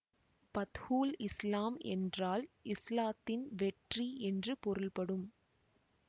பத்ஹுல் இஸ்லாம் என்றால் இஸ்லாத்தின் வெற்றி என்று பொருள்படும்